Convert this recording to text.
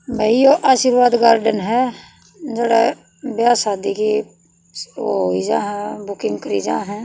भई यो आशीर्वाद गार्डन ह जड़ह ब्याह शादी की ओ होई जा ह बुकिंग करी जां हं।